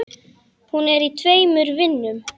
Hún er í tveimur vinnum.